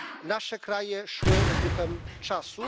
nasze kraje szły z duchem czasu.